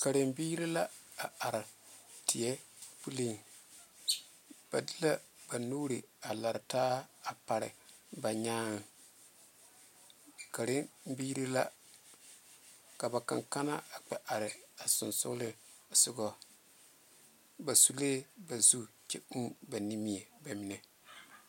Karebiiri la are teɛ puli ba de la ba nuure a laare taa a pare ba nyaa ,Karebiiri la ka ba kankane a kpɛ are a sonsoŋle soga ba sunlee ba zu kyɛ uu ba nimiɛ bamine.